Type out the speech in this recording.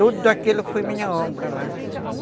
Tudo aquilo foi minha obra lá.